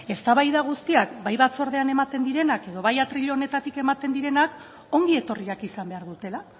eztabaida guztiak bai batzordean ematen direnak edo bai atril honetatik ematen direnak ongi etorriak izan behar dutela